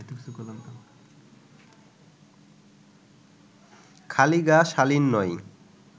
খালি গা শালীন নয়